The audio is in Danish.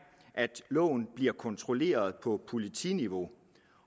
at loven bliver kontrolleret på politiniveau